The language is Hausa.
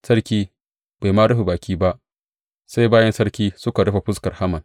Sarki bai ma rufe baki ba, sai bayin sarki suka rufe fuskar Haman.